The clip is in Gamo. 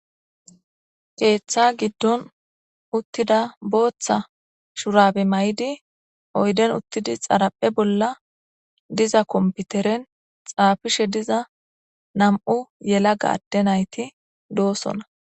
keeththa giddon uttida booththa shurabe may7idi oyden uttidi xaraphe bolla diza komputeren xaafishe diza nam7u yela gaadde nayti doosona